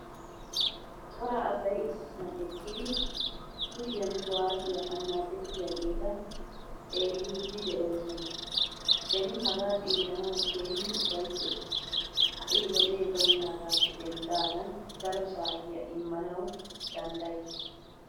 Cora asay issisan eqqidi kushiyaan kuwasiyaa annacettiyaagetta xeelliidi de'oosona. Beni haga xeelanawu keehin ufayttays. Ha'i wode baynagaappe denddagan daro saatiya immanawu danddayikke.